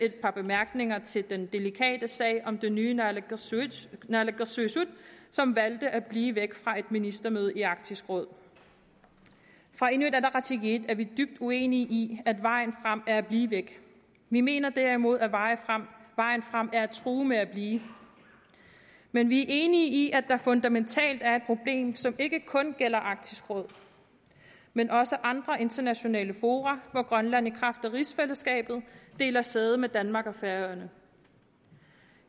et par bemærkninger til den delikate sag om det nye naalakkersuisut naalakkersuisut som valgte at blive væk fra et ministermøde i arktisk råd fra inuit ataqatigiit er vi dybt uenige i at vejen frem er at blive væk vi mener derimod at vejen frem er at true med at blive men vi er enige i at der fundamentalt er et problem som ikke kun gælder arktisk råd men også andre internationale fora hvor grønland i kraft af rigsfællesskabet deler sæde med danmark og færøerne